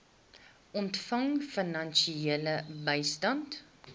ontvang finansiële bystand